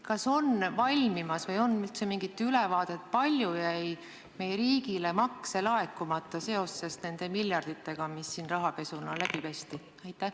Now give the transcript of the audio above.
Kas on valmimas aruanne või kas on üldse mingit ülevaadet, kui palju jäi meie riigile makse laekumata seoses nende miljarditega, mis siin rahapesu käigus läbi pesti?